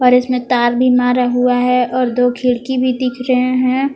और इसमें तार भी मारा हुआ है और इसमें दो खिड़की भी दिख रहे हैं।